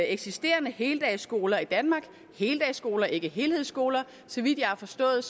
eksisterende heldagsskoler i danmark heldagsskoler ikke helhedsskoler og så vidt jeg har forstået